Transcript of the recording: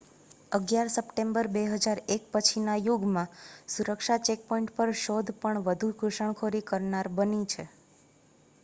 11 September 2001 પછીના યુગમાં સુરક્ષા ચેકપોઈન્ટ પર શોધ પણ વધુ ઘુસણખોરી કરનાર બની છે